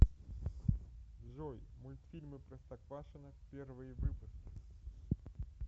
джой мульфильмы простоквашино первые выпуски